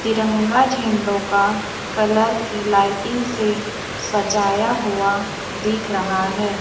तिरंगा झंडों का कलर की लाइटिंग से सजाया हुआ दिख रहा है।